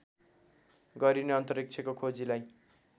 गरिने अन्तरिक्षको खोजीलाई